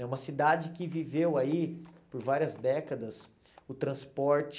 É uma cidade que viveu aí por várias décadas o transporte